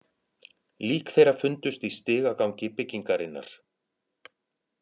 Lík þeirra fundust í stigagangi byggingarinnar